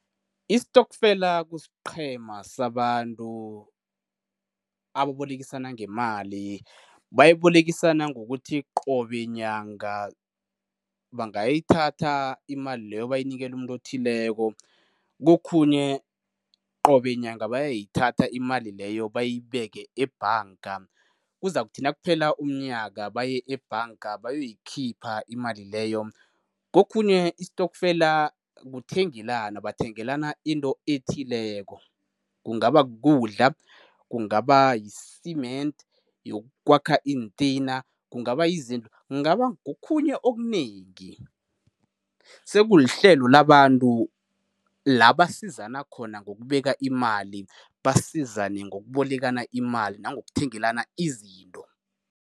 Isitokfela kusiqhema sabantu ababolekisana ngemali. Bayibolekisana ngokuthi qobe nyanga bangayithatha imali leyo bayinikele umuntu othileko, kokhunye qobe nyanga bayayithatha imali leyo bayibeke ebhanga. Kuzakuthi nakuphela umnyaka baye ebhanga bayoyikhipha imali leyo. Kokhunye isitokfela kuthengelana, bathengelana into ethileko, kungaba kukudla, kungaba yi-cement yokwakha iintina, kungaba yizinto, kungaba ngokhunye okunengi. Sekulihlelo labantu la basizana khona ngokubeka imali, basizane ngokubolekana imali nangokuthengelana izinto.